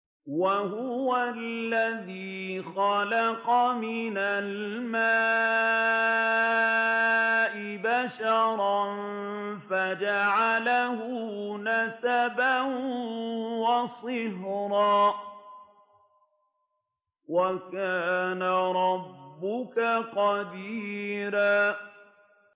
وَهُوَ الَّذِي خَلَقَ مِنَ الْمَاءِ بَشَرًا فَجَعَلَهُ نَسَبًا وَصِهْرًا ۗ وَكَانَ رَبُّكَ قَدِيرًا